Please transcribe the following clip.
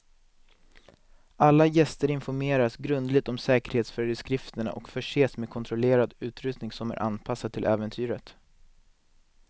Alla gäster informeras grundligt om säkerhetsföreskrifterna och förses med kontrollerad utrustning som är anpassad till äventyret.